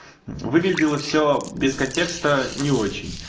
выглядело все без контекста не очень